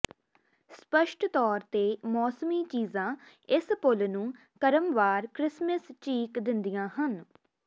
ਸਪੱਸ਼ਟ ਤੌਰ ਤੇ ਮੌਸਮੀ ਚੀਜ਼ਾਂ ਇਸ ਪੁੱਲ ਨੂੰ ਕ੍ਰਮਵਾਰ ਕ੍ਰਿਸਮਸ ਚੀਕ ਦਿੰਦੀਆਂ ਹਨ